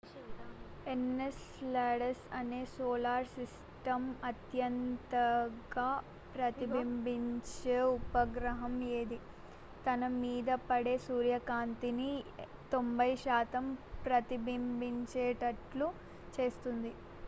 Enceladus అనేది solar system అత్యంతగా ప్రతిబింబించే ఉపగ్రహం ఇది తన మీద పడే సూర్యకాంతిని 90 శాతం ప్రతిబింబించేట్లు చేస్తుంది